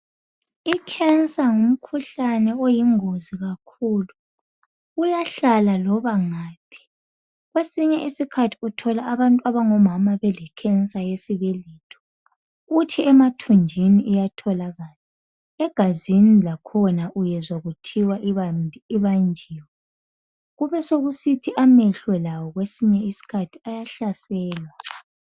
I cancer ngumkhuhlane oyingozi kakhulu , uyahlala loba ngaphi , kwesinye isikhathi uthola abantu abangomama belecancer yesibeletho , kuthi emathunjini iyatholakala , egazini lakhona uyazwa kuthiwa ibanjiwe , kube sokusithi amehlo lawo kwesinye isikhathi ayahlaselwa